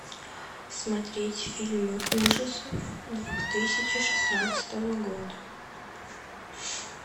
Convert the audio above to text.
смотреть фильмы ужасов двух тысячи шестнадцатого года